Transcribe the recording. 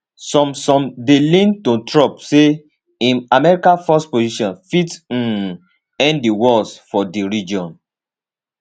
some some dey lean to trump say im america first position fit um end di wars for di region